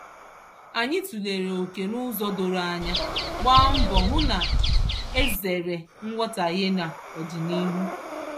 Anyị tụlere oke n'ụzọ doro anya, gbaa mbọ hụ na e zeere nghọtaghie n'ọdịnihu.